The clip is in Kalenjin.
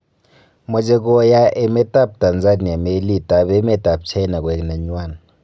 Moche koyaa emet ab Tanzania meliit ab emet ab China koek nenywan.